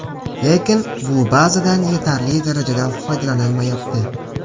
Lekin bu bazadan yetarli darajada foydalanilmayapti.